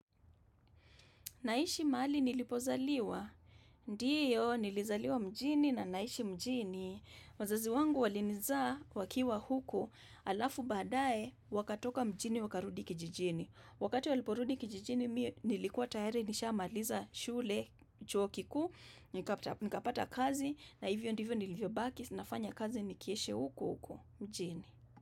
Naishi mahali nilipozaliwa? Ndiyo, nilizaliwa mjini na naishi mjini. Wazazi wangu walinizaa wakiwa huku alafu badae wakatoka mjini wakarudi kijijini. Wakati waliporudi kijijini nilikuwa tayari nisha maliza shule, chuo kikuu, nikapata kazi na hivyo nilivyo baki nafanya kazi nikiishi huku uku mjini.